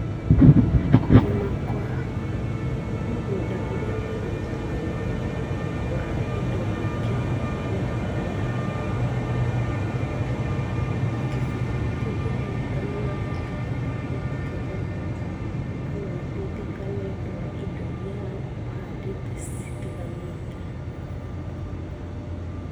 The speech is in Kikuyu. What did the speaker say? Kũrĩma kwa mũgũnda ũria wĩna mũtukanio wa indo nyingĩ nĩ kwega, tondũ gĩcunjĩ-ĩnĩ kĩu kĩa mũgũnda no ũrahota gukorwo ũkĩgetha, kana o gũteithĩka nĩũndũ wa indo iria ũhandĩte citiganĩte.